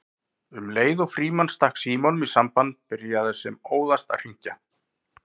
Um leið og Frímann stakk símanum í samband byrjaði sem óðast að hringja